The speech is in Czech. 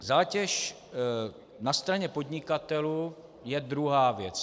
Zátěž na straně podnikatelů je druhá věc.